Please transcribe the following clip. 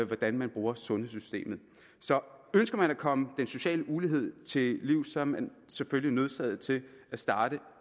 hvordan man bruger sundhedssystemet så ønsker man at komme den sociale ulighed til livs er man selvfølgelig nødsaget til at starte